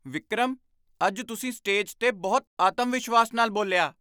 ਵਿਕਰਮ! ਅੱਜ ਤੁਸੀਂ ਸਟੇਜ 'ਤੇ ਬਹੁਤ ਆਤਮਵਿਸ਼ਵਾਸ ਨਾਲ ਬੋਲਿਆ!